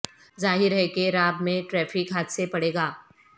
ظاہر ہے کہ راب میں ٹریفک حادثے پڑے گا